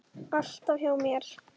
Alltaf hjá mér.